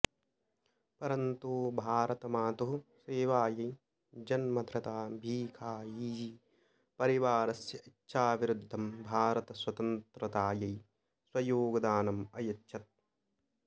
परन्तु भारतमातुः सेवायै जन्मधृता भीखायीजी परिवारस्य इच्छाविरुद्धं भारतस्वतन्त्रतायै स्वयोगदानम् अयच्छत्